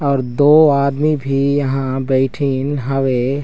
और दो आदमी भी यहाँ बैठीं हवे।